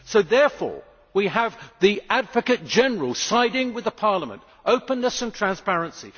So we have the Advocate General siding with Parliament openness and transparency.